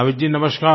नावीद जी नमस्कार